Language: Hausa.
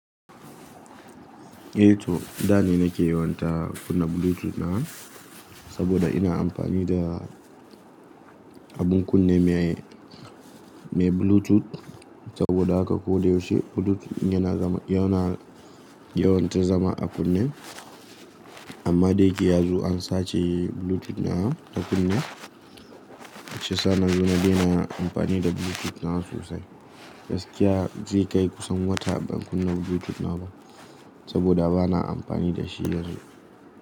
Eh to, da ne nake yawon ta kunna Bluetooth ɗina saboda ina amfani da abun kunne mai, mai Bluetooth. Saboda haka ko da yaushe Bluetooth yana nan, yana, yawan ta zama a kunne. Amma daya ke yanzu an sace Bluetooth ɗina na kunne. Sannan yanzu na dai na amfani da Bluetooth ɗin sosai. Gaskiya zai kai kusan wata ban kunna Bluetooth na ba saboda ba na amfani da shi yanzu.